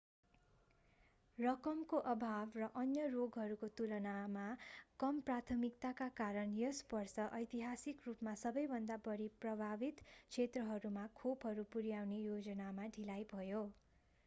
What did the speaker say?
रकमको अभाव र अन्य रोगहरूको तुलनामा कम प्राथमिकताका कारण यस वर्ष ऐतिहासिक रूपमा सबैभन्दा बढी प्रभावित क्षेत्रहरूमा खोपहरू पुर्‍याउने योजनामा ढिलाइ भयो।